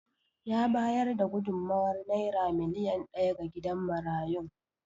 Ya bayar da gudummawar Naira miliyan daya ga gidan marayun.